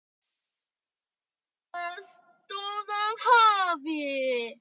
Gola stóð af hafi.